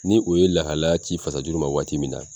Ni o ye lahalaya ci fasajuru ma waati min na